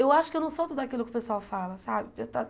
Eu acho que eu não sou tudo aquilo que o pessoal fala, sabe?